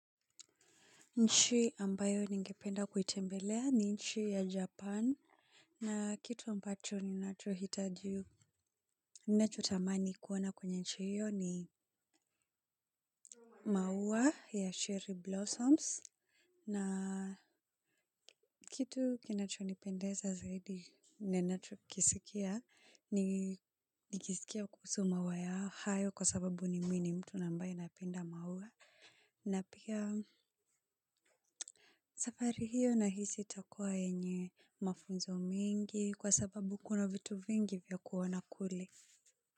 Nchi ambayo ningependa kuitembelea ni nchi ya Japan. Na kitu ambacho ninachohitaji. Nacho tamani kuona kwa nchi hiyo ni maua ya Sherry Blossoms. Na kitu kinacho nipendeza zaidi ninachokisikia. Nikisikia kuhusu maua ya hayo kwa sababu ni mimi mtu na ambaye napenda maua. Na pia safari hiyo nahisi itakuwa yenye mafunzo mengi kwa sababu kuna vitu vingi vya kuona kule.